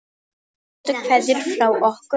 Bestu kveðjur frá okkur Marie.